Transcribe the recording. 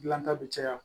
Dilanta bɛ caya